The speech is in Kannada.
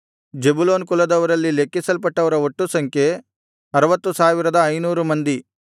ಜೆಬುಲೂನ್ ಕುಲದವರಲ್ಲಿ ಲೆಕ್ಕಿಸಲ್ಪಟ್ಟವರ ಒಟ್ಟು ಸಂಖ್ಯೆ 60500 ಮಂದಿ